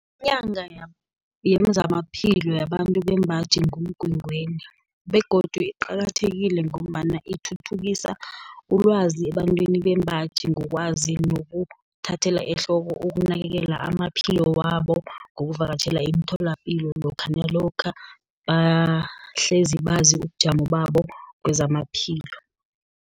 Inyanga yezamaphilo yabantu bembaji, nguMgwengweni, begodu iqakathekile ngombana ithuthukisa ilwazi ebantwini bembaji, ngokwazi nokuthathela ehloko, ukunakekela amaphilo wabo, ngokuvakatjhela emitholapilo lokha, nalokha bahlezi bazi ubujamo babo kezamaphilo.